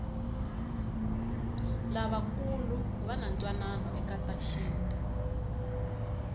lavakulu vanatwanano ekatashintu